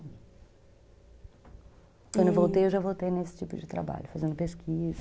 Quando eu voltei, eu já voltei nesse tipo de trabalho, fazendo pesquisa.